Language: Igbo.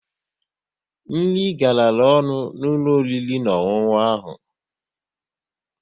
Nri garara ọnụ n'ụlọ oriri na ọṅụṅụ ahụ